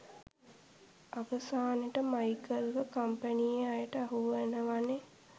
අවසානෙට මයිකල්ව කම්පැනියේ අයට අහුවෙනවනේ